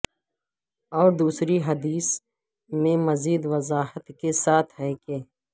اور دوسری حدیث میں مزید وضاحت کے ساتھ ہے کہ